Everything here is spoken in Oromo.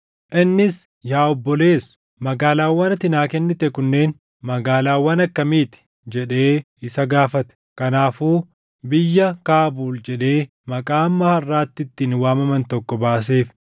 Innis, “Yaa obboleessoo, magaalaawwan ati naa kennite kunneen magaalaawwan akkamii ti?” jedhee isa gaafate. Kanaafuu biyya Kaabuul jedhee maqaa hamma harʼaatti ittiin waamaman tokko baaseef.